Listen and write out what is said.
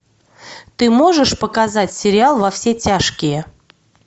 ты можешь показать сериал во все тяжкие